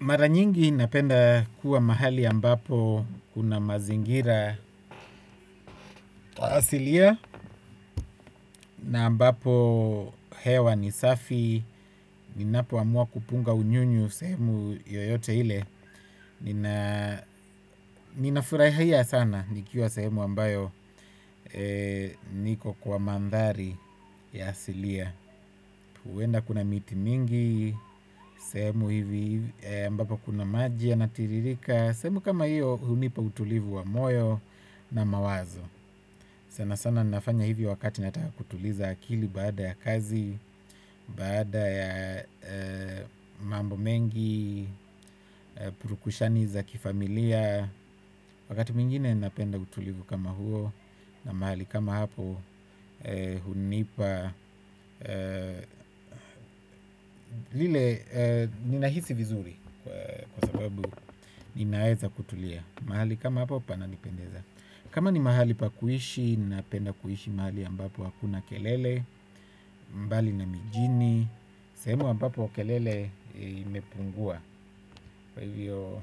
Mara nyingi napenda kuwa mahali ambapo kuna mazingira asilia, na ambapo hewa ni safi, ninapo amua kupunga unyunyu sehemu yoyote ile. Ninafurahia sana nikiwa sehemu ambayo niko kwa mandhari ya asilia. Huenda kuna miti mingi, sehemu hivi ambapo kuna maji yanatiririka. Sehemu kama hiyo hunipa utulivu wa moyo na mawazo. Sana sana nafanya hivi wakati nataka kutuliza akili baada ya kazi, baada ya mambo mengi, purukushani za kifamilia. Wakati mwingine napenda utulivu kama huo na mahali kama hapo hunipa lile ninahisi vizuri. Kwa sababu ninaeza kutulia. Mahali kama hapo pana nipendeza. Kama ni mahali pa kuishi ninapenda kuishi mahali ambapo hakuna kelele. Mbali na mijini sehemu ambapo kelele imepungua. Kwa hivyo.